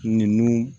Nunnu